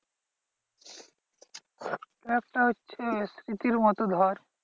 একটা হচ্ছে স্মৃতির মতো ধর।